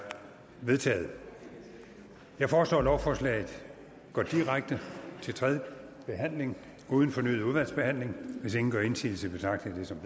vedtaget jeg foreslår at lovforslaget går direkte til tredje behandling uden fornyet udvalgsbehandling hvis ingen gør indsigelse betragter jeg det som